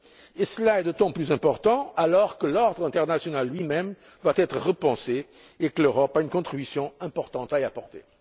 Et cela est d'autant plus important alors que l'ordre international, lui même, doit être repensé et que l'Europe a une contribution importante à y apporter.